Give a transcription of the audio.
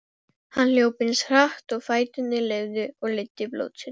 Hann hljóp eins hratt og fæturnir leyfðu og leiddi blótsyrði